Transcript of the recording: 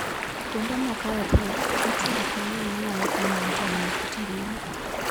Kuonde moko e piny, nitie gik mang'eny manyalo konyo ng'ato ng'eyo kit ngima.